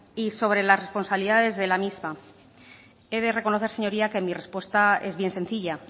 y sobre las responsabilidades de la misma he de reconocer señoría que mi respuesta es bien sencilla